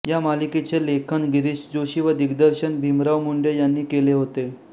या मालिकेचे लेखन गिरीश जोशी व दिग्दर्शन भीमराव मुडे यांनी केले होते